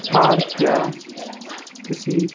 park या किसी--